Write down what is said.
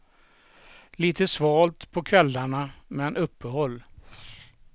Lite svalt på kvällarna, men uppehåll.